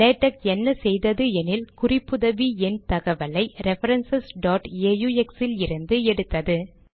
LaTeX என்ன செய்தது எனில் குறிப்புதவி எண் தகவலை ரெஃபரன்ஸ் aux இலிருந்து எடுத்தது